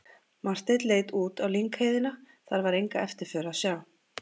Marteinn leit út á lyngheiðina, þar var enga eftirför að sjá.